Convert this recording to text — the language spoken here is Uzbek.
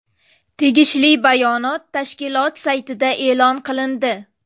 Tegishli bayonot tashkilot saytida e’lon qilindi .